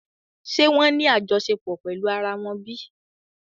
Ṣe wón wá ní àjọṣepọ̀ pèlú àrà wón bí?